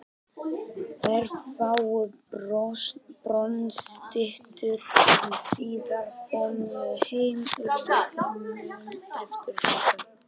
Þær fáu bronsstyttur sem síðar komu heim urðu þeim mun eftirsóttari.